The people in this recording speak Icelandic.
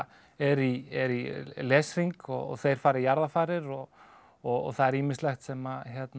eru í eru í leshring og þeir fara í jarðarfarir og og það er ýmislegt sem